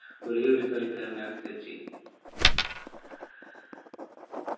ഒരേയൊരു കളിക്കാരനാണ് സച്ചിൻ